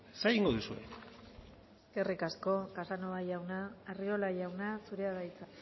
zer egingo duzue eskerrik asko casanova jauna arriola jauna zurea da hitza